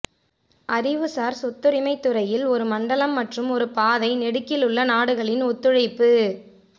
அறிவுசார் சொத்துரிமை துறையில் ஒரு மண்டலம் மற்றும் ஒரு பாதை நெடுகிலுள்ள நாடுகளின் ஒத்துழைப்பு